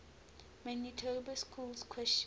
manitoba schools question